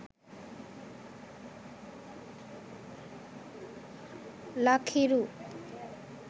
lak hiru